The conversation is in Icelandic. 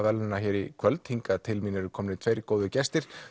verðlaunanna í kvöld hingað til mín eru komnir tveir góðir gestir